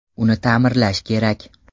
Uni ta’mirlash kerak.